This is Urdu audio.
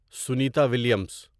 سنیتا ولیمز